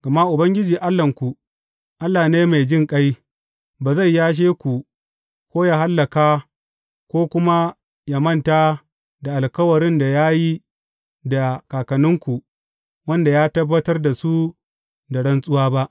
Gama Ubangiji Allahnku, Allah ne mai jinƙai; ba zai yashe ku ko yă hallaka, ko kuma yă manta da alkawarin da ya yi da kakanninku, wanda ya tabbatar da su da rantsuwa ba.